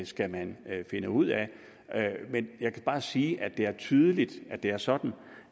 skal man finde ud af jeg kan bare sige at det er tydeligt at det er sådan